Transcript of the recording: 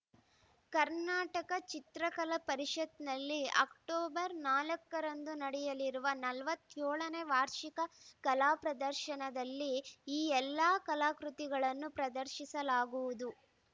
ಕರ್ನಾಟಕ ಚಿತ್ರಕಲಾ ಪರಿಷತ್‌ನಲ್ಲಿ ಅಕ್ಟೋಬರ್ ನಾಲ್ಕರಂದು ನಡೆಯಲಿರುವ ನಲವತ್ಯೋಳ ನೇ ವಾರ್ಷಿಕ ಕಲಾಪ್ರದರ್ಶನದಲ್ಲಿ ಈ ಎಲ್ಲ ಕಲಾಕೃತಿಗಳನ್ನು ಪ್ರದರ್ಶಿಸಲಾಗುವುದು